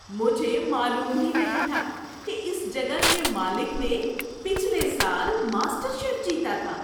مجھے معلوم ہی نہیں تھا کہ اس جگہ کے مالک نے پچھلے سال ماسٹر شیف جیتا تھا!